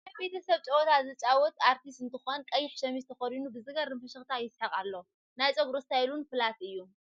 ናይ በተሰብ ጨውታ ዘጫዉት ኣርቲስት እንትኮን ቀይሕ ሸሚዝ ተከዲኑ ብዝገርም ፍሽክታ ይስሕቅ ኣሎ ። ናይ ፀጉሩ እስታይል እውን ፍላት እዩ ።